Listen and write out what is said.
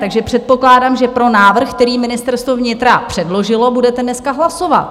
Takže předpokládám, že pro návrh, který Ministerstvo vnitra předložilo, budete dneska hlasovat.